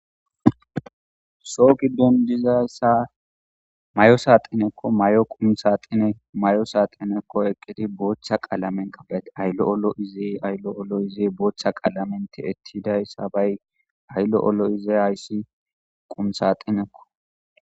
Soo giddon diza mayo saaxineko, mayo qumi saxine mayo saxineko eqqidi bootha qalamen qaba'eti ay lo'o lo'ize ay lo'o lo'ize bootha qalamen tiyetidaysa bay ay lo'o lo'ize haysi qumi saaxineko.